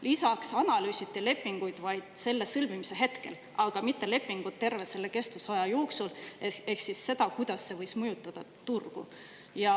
Lisaks analüüsiti lepingut vaid selle sõlmimise hetkel, aga mitte lepingut terve selle kestusaja jooksul, ehk seda, kuidas see võis mõjutada turgu.